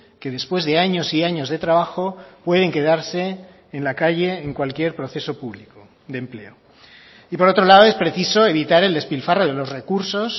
que después de años y años de trabajo pueden quedarse en la calle en cualquier proceso público de empleo y por otro lado es preciso evitar el despilfarro de los recursos